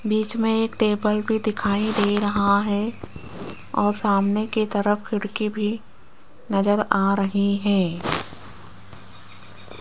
बीच मे एक टेबल भी दिखाई दे रहा है और सामने की तरफ खिड़की भी नज़र आ रही है।